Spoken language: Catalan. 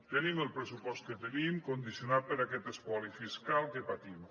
tenim el pressupost que tenim condicionat per aquest espoli fiscal que patim